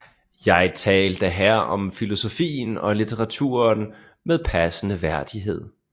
Jeg talte her om filosofien og litteraturen med passende værdighed